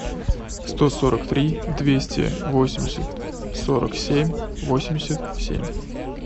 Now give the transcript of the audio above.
сто сорок три двести восемьдесят сорок семь восемьдесят семь